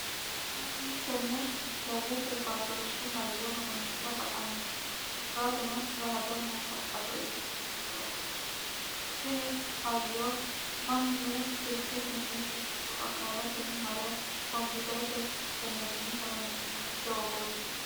mannu tenne dijitalete baatooshshe hayyo horonsi'ra baxanno korkaatuno rahadonna shaqqado ikkitino daafooti tini hayyo mannu silkesinni ikko akaalete mare kompiterete sistemenni horonsi'nanni doogooti